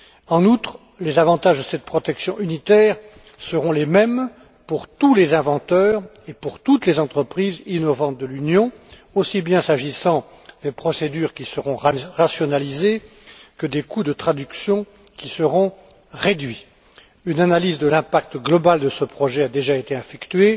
En outre, les avantages de cette protection unitaire seront les mêmes pour tous les inventeurs et pour toutes les entreprises innovantes de l'Union, aussi bien s'agissant des procédures qui seront rationalisées que des coûts de traduction qui seront réduits. Une analyse de l'impact global de ce projet a déjà été effectuée